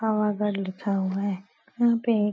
लिखा हुआ है। यहाँ पे --